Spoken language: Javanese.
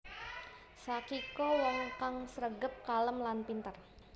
Sakiko wong kang sregep kalem lan pinter